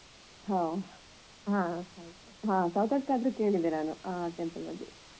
ಓ ಹ ಹೌದು ಸೌತಡ್ಕ ಆದ್ರೆ ಕೇಳಿದ್ದೇನೆ ನಾನು ಆ temple ಬಗ್ಗೆ